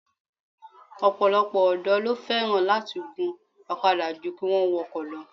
Ọ̀pọ̀lọpọ̀ ọ̀dọ́ ló fẹ́ràn láti gun ọ̀kadà jú kí wọ́n wọkọ̀ lọ